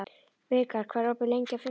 Vikar, hvað er opið lengi á fimmtudaginn?